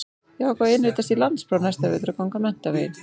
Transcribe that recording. Ég ákvað að innritast í landspróf næsta vetur og ganga menntaveginn.